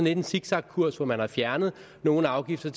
en zigzagkurs hvor man har fjernet nogle afgifter